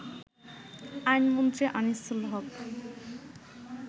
আইনমন্ত্রী আনিসুল হক